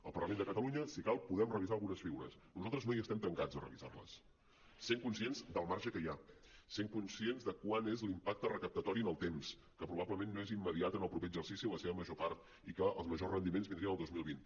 al parlament de catalunya si cal podem revisar algunes figures nosaltres no hi estem tancats a revisar les essent conscients del marge que hi ha essent conscients de quant és l’impacte recaptatori en el temps que probablement no és immediat en el proper exercici en la seva major part i que els majors rendiments vindrien en el dos mil vint